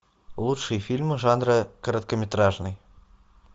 лучшие фильмы жанра короткометражный